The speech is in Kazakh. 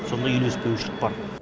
сондай үйлеспеушілік бар